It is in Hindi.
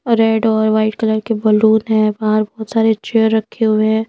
रेड और व्हाइट कलर के बालून है बाहर बहुत सारे चेयर रखे हुए हैं।